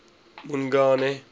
mongane